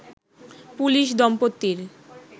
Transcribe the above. police দম্পতির